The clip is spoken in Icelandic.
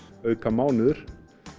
auka mánuður